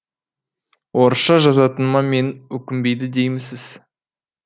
орысша жазатыныма мені өкінбеді деймісіз